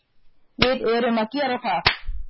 Við erum að gera það.